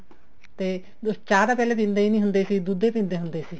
ਤੇ ਚਾਹ ਤਾਂ ਪਹਿਲੇ ਦਿੰਦੇ ਹੀ ਨੀ ਹੁੰਦੇ ਸੀ ਦੁੱਧ ਹੀ ਦਿੰਦੇ ਹੁੰਦੇ ਸੀ